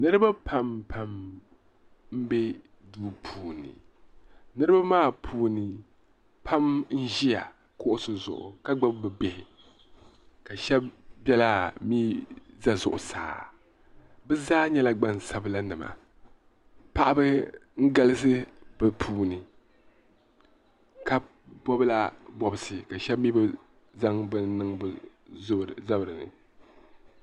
niriba Pam pam m-be duu puuni niriba maa puuni pam n-ʒiya kuɣisi zuɣu ka gbubi bɛ bihi ka shɛba biɛlaa mi za zuɣusaa bɛ zaa nyɛla gbaŋ' sabila paɣaba n-galisi bɛ puuni ka bɔbila bɔbisi ka shɛba mi bi zaŋ bini niŋ bɛ zuɣuni.